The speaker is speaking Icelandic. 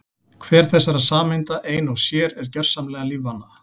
Hver þessara sameinda ein og sér er gjörsamlega lífvana.